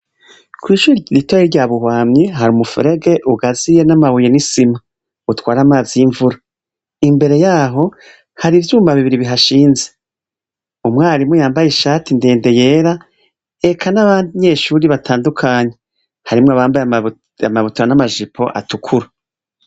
Kwishure ritoyi ryabubamyi hari umufurege ugazuyemwo amabuye n'isima utwara amazi yimvura. Imbere yaho hari ivyuma bibiri bihashinze umwarimu yambaye ishati ndende yera eka n'abanyeshuli batandukanye harimwo abambaye amabutura na majipo atukura.